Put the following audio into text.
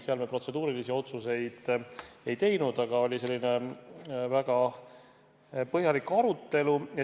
Seal me protseduurilisi otsuseid ei teinud, aga oli väga põhjalik arutelu.